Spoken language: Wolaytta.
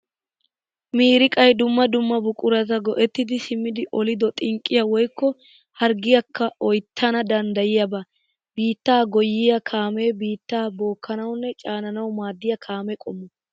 Miiriqay dumma dumma buqurata go'ettiddi simmiddi oliddo xinqqiya woykko harggiyakka oyttanna danddayiyaba. Biitta goyyiya kaame biitta bookkanawunne caanawu maadiya kaame qommo.